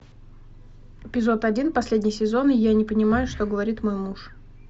эпизод один последний сезон я не понимаю что говорит мой муж